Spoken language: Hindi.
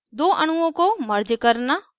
दो अणुओं को merge करना